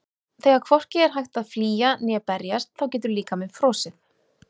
Þegar hvorki er hægt að flýja né berjast þá getur líkaminn frosið.